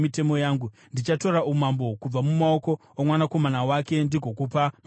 Ndichatora umambo kubva mumaoko omwanakomana wake ndigokupa marudzi gumi.